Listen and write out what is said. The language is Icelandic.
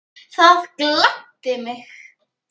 Það gladdi mig.